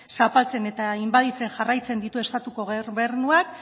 zapaltzen eta inbaditzen jarraitzen ditu estatuko gobernuak